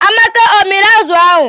Amaka ọ miri azụ ahụ?